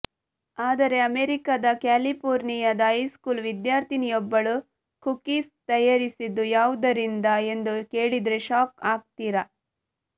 ಆದರೆ ಅಮೆರಿಕದ ಕ್ಯಾಲಿಫೋರ್ನಿಯಾದ ಹೈಸ್ಕೂಲ್ ವಿದ್ಯಾರ್ಥಿನಿಯೊಬ್ಬಳು ಕುಕೀಸ್ ತಯಾರಿಸಿದ್ದು ಯಾವುದರಿಂದ ಎಂದು ಕೇಳಿದ್ರೆ ಶಾಕ್ ಆಗ್ತೀರಾ